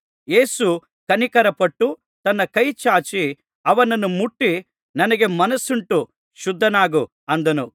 ಯೇಸು ಕನಿಕರಪಟ್ಟು ತನ್ನ ಕೈ ಚಾಚಿ ಅವನನ್ನು ಮುಟ್ಟಿ ನನಗೆ ಮನಸ್ಸುಂಟು ಶುದ್ಧನಾಗು ಅಂದನು